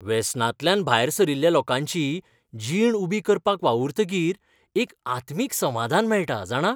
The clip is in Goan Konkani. वेसनांतल्यान भायर सरिल्ल्या लोकांची जीण उबी करपाक वावुरतकीर एक आत्मीक समादान मेळटा, जाणा.